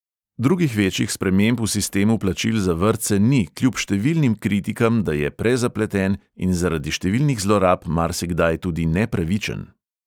Drugih večjih sprememb v sistemu plačil za vrtce ni kljub številnim kritikam, da je prezapleten in zaradi številnih zlorab marsikdaj tudi nepravičen.